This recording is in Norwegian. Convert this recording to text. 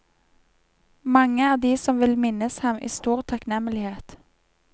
Mange er de som vil minnes ham i stor takknemlighet.